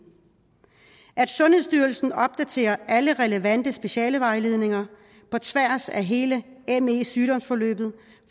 sundhedsstyrelsen opdaterer alle relevante specialevejledninger på tværs af hele me sygdomsforløbet